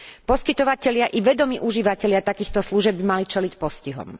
Poskytovatelia i vedomí užívatelia takýchto služieb by mali čeliť postihom.